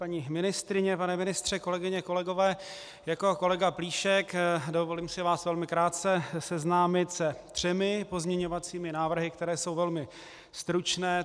Paní ministryně, pane ministře, kolegyně, kolegové, jako kolega Plíšek dovolím si vás velmi krátce seznámit se třemi pozměňovacími návrhy, které jsou velmi stručné.